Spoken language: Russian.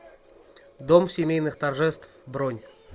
дом семейных торжеств бронь